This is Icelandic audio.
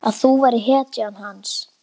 Að þú værir hetjan hans.